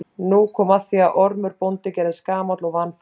Nú kom að því að Ormur bóndi gerðist gamall og vanfær.